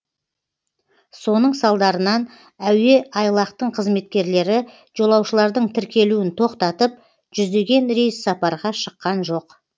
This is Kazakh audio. соның салдарынан әуе айлақтың қызметкерлері жолаушылардың тіркелуін тоқтатып жүздеген рейс сапарға шыққан жоқ